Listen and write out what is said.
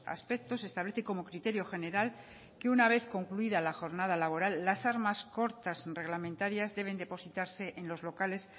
aspectos establece como criterio general que una vez concluida la jornada laboral las armas cortas reglamentarias deben depositarse en los locales